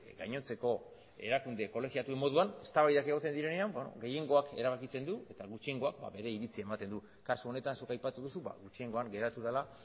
gainontzeko erakunde kolegiatuen moduan eztabaidak egoten direnean beno gehiengoak erabakitzen du eta gutxiengo bere iritzia ematen du kasu honetan zuk aipatu duzu gutxiengoan geratu dela